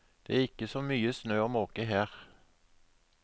Det er ikke så mye snø å måke her.